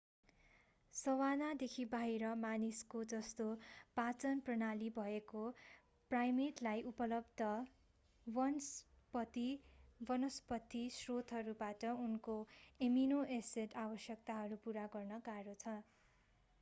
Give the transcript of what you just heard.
savanna देखि बाहिर मानिसको जस्तो पाचन प्रणाली भएको प्राइमेटलाई उपलब्ध वनस्पति स्रोतहरूबाट उसको एमिनो-एसिड आवश्यकताहरू पूरा गर्न गाह्रो छ